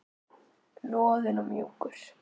Loðinn og mjúkur.